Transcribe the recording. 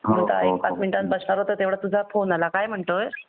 आता एक पाच मिनिटात बसणार होतो तेव्हड्यात तुझा फोन आला काय म्हणतोय?